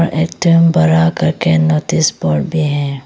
एकदम बड़ा करके नोटिस बोर्ड भी है।